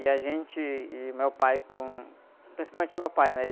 E a gente e o meu pai com... Principalmente o meu pai, né?